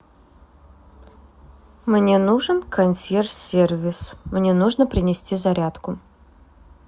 мне нужен консьерж сервис мне нужно принести зарядку